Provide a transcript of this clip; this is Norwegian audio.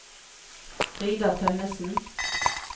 Frida Tønnesen